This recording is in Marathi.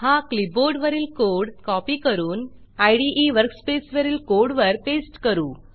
हा क्लिपबोर्डवरील कोड कॉपी करून इदे वर्कस्पेसवरील कोड वर पेस्ट करू